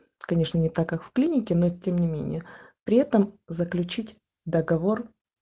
конечно не так как в клинике но тем не менее при этом заключить договор